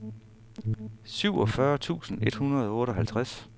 syvogfyrre tusind et hundrede og otteoghalvtreds